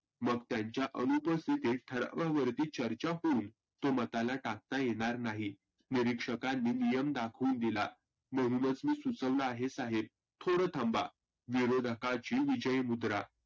मग त्यांचा अनुपस्थितीत हळू हळू चर्चा होईल दुमताला टाकता येणार नाही. निरिक्षकांनी नियम दाखवुन दिला. म्हणूनच मी सुचवलं आहे साहेब थोडं थांवा. विरोधकाची विजयी मुद्रा.